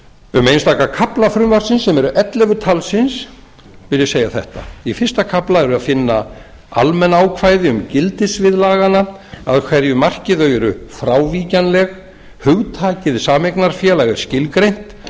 um einstaka kafla frumvarpsins sem eru ellefu talsins vil ég segja þetta í fyrsta kafla er að finna almenn ákvæði um gildissvið laganna að hverju marki þau eru frávíkjanleg hugtakið sameignarfélag er skilgreint